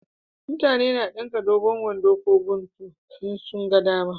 Mutane na dinka dogon wando ko guntu in sun ga dama